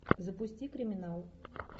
запусти криминал